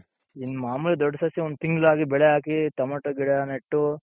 ಇನ್ ಮಾಮುಲಿ ದೊಡ್ ಸಸಿ ಒಂದ್ ತಿಂಗಳಾಗಿ ಬೆಳೆ ಹಾಕಿ ಟೊಮೇಟೊ ಗಿಡ ನೆಟ್ಟು ,